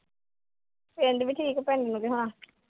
ਪਿੰਡ ਦੀ ਕੀ ਪਤਾ